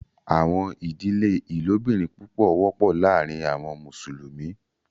Àwọn idílẹ̀ ilòbìrín púpọ̀ wọpọ lárìn àwọn Musulumi.